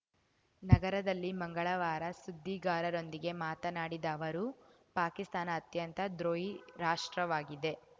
ನಗರದಲ್ಲಿ ಮಂಗಳವಾರ ಸುದ್ದಿಗಾರರೊಂದಿಗೆ ಮಾತನಾಡಿದ ಅವರು ಪಾಕಿಸ್ತಾನ ಅತ್ಯಂತ ದ್ರೋಹಿ ರಾಷ್ಟ್ರವಾಗಿದೆ